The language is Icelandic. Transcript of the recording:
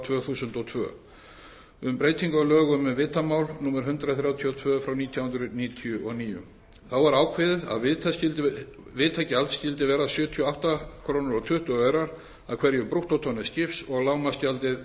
tvö þúsund og tvö um breytingu á lögum um vitamál númer hundrað þrjátíu og tvö nítján hundruð níutíu og níu þá var ákveðið að vitagjald skyldi vera sjötíu og átta komma tuttugu krónur af hverju brúttótonni skips og lágmarksgjald